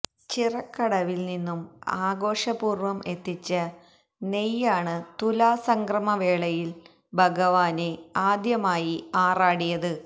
ചിറക്കടവില് നിന്നും ആഘോഷപൂര്വ്വം എത്തിച്ച നെയ്യാണ് തുലാസംക്രമവേളയില് ഭഗവാന് ആദ്യമായി ആറാടിയത്